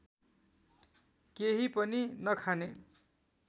केही पनि नखाने